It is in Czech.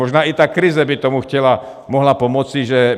Možná i ta krize by tomu mohla pomoci, že